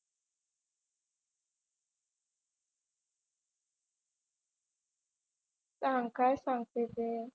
सांग काय सांगते ते.